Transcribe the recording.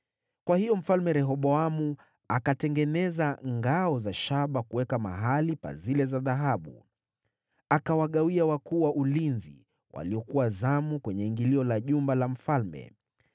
Kwa hiyo Mfalme Rehoboamu akatengeneza ngao za shaba badala ya zile za dhahabu na kuzikabidhi kwa majemadari wa ulinzi wa zamu kwenye ingilio la jumba la mfalme.